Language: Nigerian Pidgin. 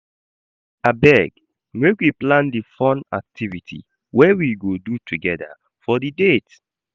Abeg make we plan di fun activity wey we go do togeda for di date.